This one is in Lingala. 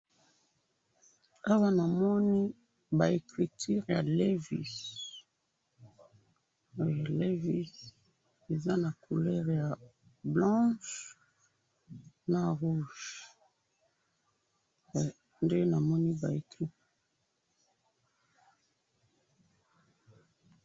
awa namoni ba ecriture ya levi's eeehhh levi's eza na couleur ya blanche na rouge